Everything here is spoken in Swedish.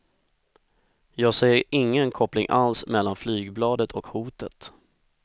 Jag ser ingen koppling alls mellan flygbladet och hotet.